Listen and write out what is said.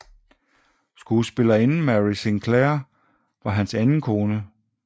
Skuespillerinden Mary Sinclair var hans anden kone